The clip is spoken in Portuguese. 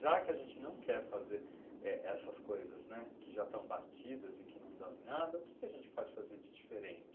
Já que a gente não quer fazer é, essas coisas que já estão batidas e que não dão em nada, o que a gente pode fazer de diferente?